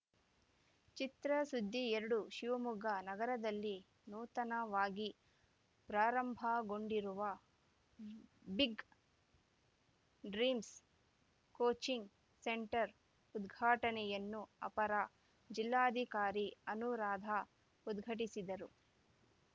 ಚಿತ್ರಸುದ್ದಿ ಎರಡು ಶಿವಮೊಗ್ಗ ನಗರದಲ್ಲಿ ನೂತನವಾಗಿ ಪ್ರಾರಂಭಗೊಂಡಿರುವ ಬಿಗ್‌ ಡ್ರೀಮ್ಸ್‌ ಕೋಚಿಂಗ್‌ ಸೆಂಟರ್‌ ಉದ್ಘಾಟನೆಯನ್ನು ಅಪರ ಜಿಲ್ಲಾಧಿಕಾರಿ ಅನುರಾಧ ಉದ್ಘಾಟಿಸಿದರು